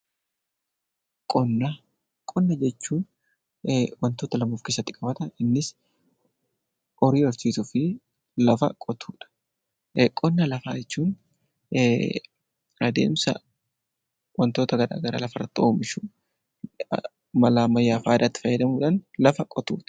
Qonna. Qonna jechuun wantoota lama of keessatti qabata. Innis horii horsiisuu fi lafa qotuu dha. Qonna lafaa jechuun adeemsa wantoota gara garaa lafa irratti oomishuun mala ammayyaa fi aadaatti fayyadamuu dhaan lafa qotuu dha.